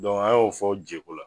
Dɔnku a y'o fɔ jeko la